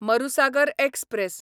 Marusagar express